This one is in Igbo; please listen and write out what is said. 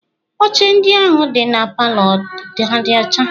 Oche ndị ahụ dị na palọ ha dị ọcha?